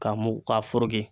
Ka mugu ka foroki